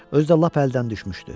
Özü də lap əldən düşmüşdü.